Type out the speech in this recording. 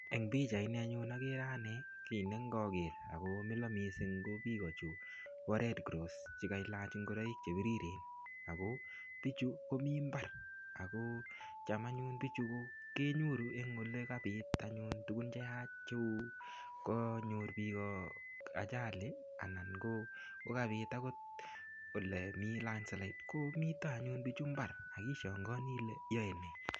Eng pichait ni anyun akere ane kiy ne ng'aker. Akomila missing ko biik kochu po Redcross che kailach ngoroik che biriren. Ako bichu komii mbar. Ako cham anyun bichu kenyoru eng ole kabit anyun tugun cheyach cheu kanyor biik ajali anan ko kokabit angot ole mii landslide. Komite anyun bichu mbar, akishaangani ile yae nee.